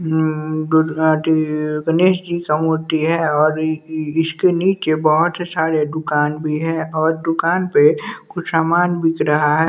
उम्म दुर्गा जी गणेश जी का मूर्ति है और ई इसके नीचे बहुत सारे दुकान भी है और दुकान पे कुछ सामान बिक रहा है।